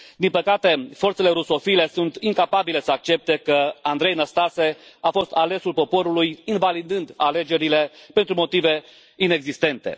Din păcate, forțele rusofile sunt incapabile să accepte că Andrei Năstase a fost alesul poporului, invalidând alegerile pentru motive inexistente.